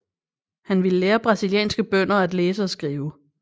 Han ville lære brasilianske bønder at læse og skrive